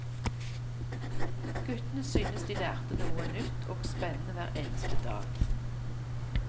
Guttene syntes de lærte noe nytt og spennende hver eneste dag.